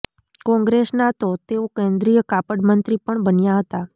કોંગ્રેસમાં તો તેઓ કેન્દ્રીય કાપડ મંત્રી પણ બન્યા હતા